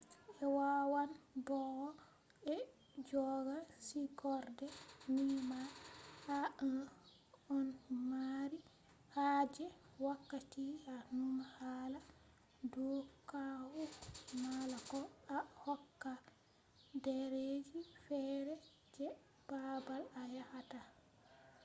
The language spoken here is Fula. ɓe wawan bo'o ɓe jogga sigorde ni ma to a ɗon mari haaje wakkati a numa hala do caahu mala ko a hokka ɗereji feere je baabal a yahata bana visa